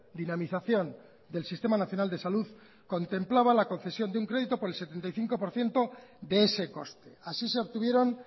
dinamización del sistema nacional de salud contemplaba la concesión de un crédito por el setenta y cinco por ciento de ese coste así se obtuvieron